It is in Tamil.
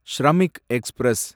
ஷ்ரமிக் எக்ஸ்பிரஸ்